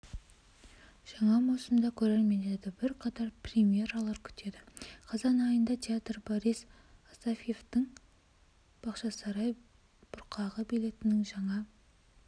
жаңа маусымда көрермендерді бір қатар премьералар күтеді қазан айында театр борис асафьевтің бақшасарай бұрқағы балетінің жаңа